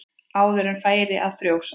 Áður en færi að frjósa.